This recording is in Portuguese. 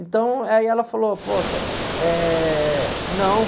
Então, aí ela falou, poxa, eh, não